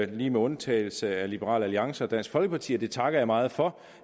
lige med undtagelse af liberal alliance og dansk folkeparti og det takker jeg meget for